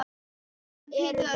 Hann pírði augun.